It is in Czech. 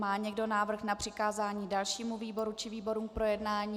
Má někdo návrh na přikázání dalšímu výboru či výborům k projednání?